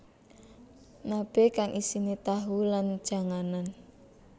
Nabe kang isine tahu lan janganan